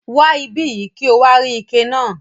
Wa ibiyi ki o wa rí ike náà.